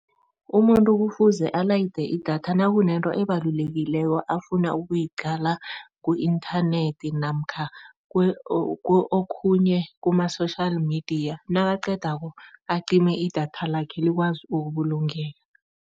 Umuntu kufuze alayide idatha nakunento ebalulekileko afuna ukuyiqala ku-inthanethi namkha okhunye kuma-social media nakaqedako acime idatha lakhe likwazi ukubulungeka.